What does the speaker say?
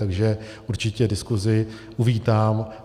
Takže určitě diskusi uvítám.